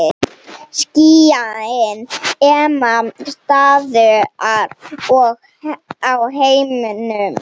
Skýin ema staðar á himnum.